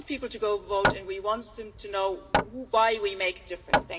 We want people to vote and we want them to know why we make a difference.